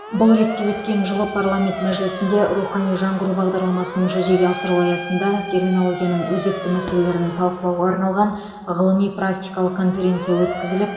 бұл ретте өткен жылы парламент мәжілісінде рухани жаңғыру бағдарламасын жүзеге асыру аясында терминологияның өзекті мәселелерін талқылауға арналған ғылыми практикалық конференция өткізіліп